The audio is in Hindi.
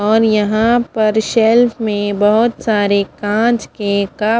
यहाँ पर सेल्फ में बहोत सारे कप --